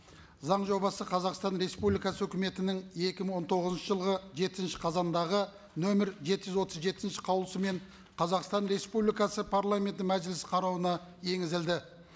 заң жобасы қазақстан республикасы өкіметінің екі мың он тоғызыншы жылғы жетінші қазандағы нөмір жеті жүз отыз жетінші қаулысымен қазақстан республикасы парламенті мәжіліс қарауына енгізілді